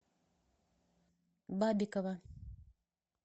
бабикова